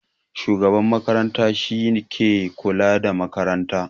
Shugaban makaranta shi ke kula da makarantar